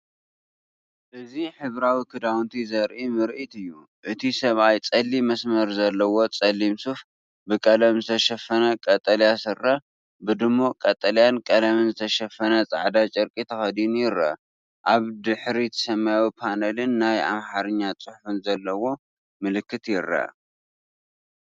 እዚ ሕብራዊ ክዳውንቲ ዘርኢ ምርኢት እዩ። እቲ ሰብኣይ ጸሊም መስመር ዘለዎ ጸሊም ሱፍ፡ ብቀለም ዝተሸፈነ ቀጠልያ ስረ፡ ብድሙቕ ቀጠልያን ቀለምን ዝተሸፈነ ጻዕዳ ጨርቂ ተኸዲኑ ይርአ። ኣብ ድሕሪት ሰማያዊ ፓነልን ናይ ኣምሓርኛ ጽሑፍ ዘለዎ ምልክትን ይርአ።